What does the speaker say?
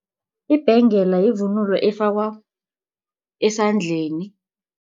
Ibhengela yivunulo efakwa esandleni.